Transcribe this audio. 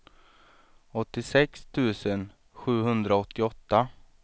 åttiosex tusen sjuhundraåttioåtta